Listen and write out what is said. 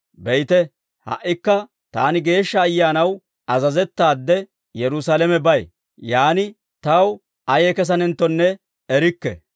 «Be'ite; ha"ikka taani Geeshsha Ayyaanaw azazettaade, Yerusaalamebay; yaan taw ayee kesanenttonne erikke.